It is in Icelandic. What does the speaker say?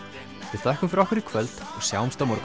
við þökkum fyrir okkur í kvöld og sjáumst á morgun